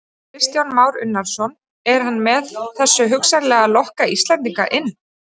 Kristján Már Unnarsson: Er hann með þessu hugsanlega að lokka Íslendinga inn?